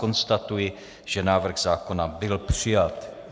Konstatuji, že návrh zákona byl přijat.